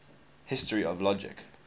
history of logic